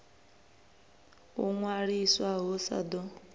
u ṅwaliswa hu sa ḓo